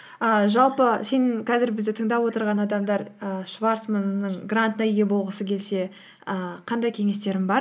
ііі жалпы сенің қазір бізді тыңдап отырған адамдар і шварцманның грантына ие болғысы келсе ііі қандай кеңестерің бар